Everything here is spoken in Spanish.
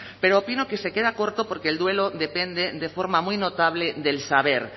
pero opino que se queda corto porque el duelo depende de forma muy notable del saber